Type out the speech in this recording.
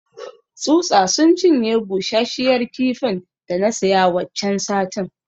Tsutsa sun cinye bushashiyar kifin da na siya waccan satin.